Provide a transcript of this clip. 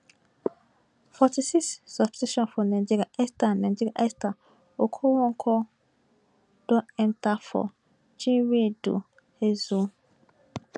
forty six substitution for nigeria esther nigeria esther okoronkwo don enta for chinwendu ihezuo